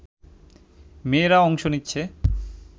মেয়েরা অংশ নিচ্ছে